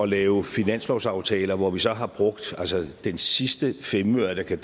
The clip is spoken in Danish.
lave finanslovsaftaler hvor vi så har brugt den sidste femøre der kan